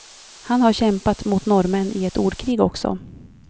Han har kämpat mot norrmän i ett ordkrig också.